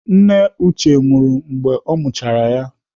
Nne Uche nwụrụ mgbe ọ mụchara ya.